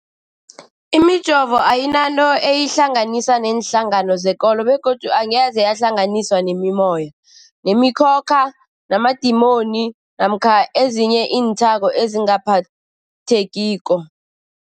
Imijovo ayinanto eyihlanganisa neenhlangano zekolo begodu angeze yahlanganiswa nemimoya, nemi khokha, namadimoni namkha ezinye iinthako ezingaphathekiko.